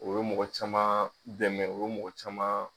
O ye mɔgɔ caman dɛmɛ, o ye mɔgɔ caman.